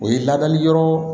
O ye ladali yɔrɔ